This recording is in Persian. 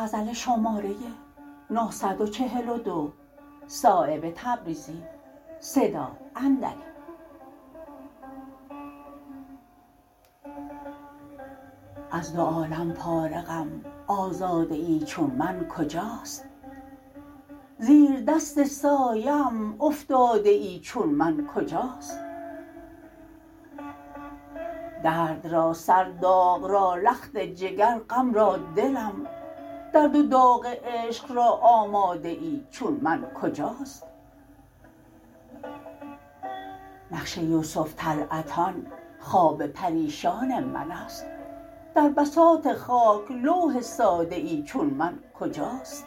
از دو عالم فارغم آزاده ای چون من کجاست زیر دست سایه ام افتاده ای چون من کجاست درد را سر داغ را لخت جگر غم را دلم درد و داغ عشق را آماده ای چون من کجاست نقش یوسف طلعتان خواب پریشان من است در بساط خاک لوح ساده ای چون من کجاست